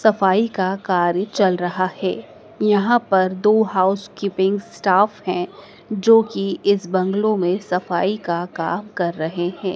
सफाई का कार्य चल रहा है यहां पर दो हाउसकीपिंग स्टाफ हैं जो कि इस बंगलो में सफाई का का कर रहे हैं।